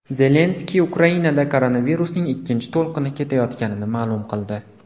Zelenskiy Ukrainada koronavirusning ikkinchi to‘lqini ketayotganini ma’lum qildi.